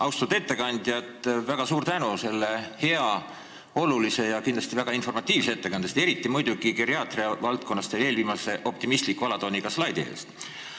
Austatud ettekandja, väga suur tänu selle hea, olulise ja kindlasti väga informatiivse ettekande eest, eriti muidugi geriaatria valdkonna käsitlemise ja eelviimase optimistliku alatooniga slaidi eest!